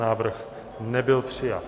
Návrh nebyl přijat.